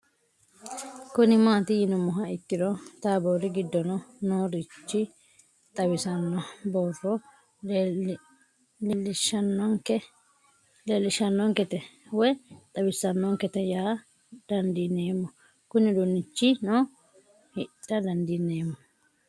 Kuni mati yinumoha ikiro tabori gidono noo rich xawisano booro leesishanonike te woyi xawisanonikete yaa dandineemo Kuni udunichino hidha dandinemo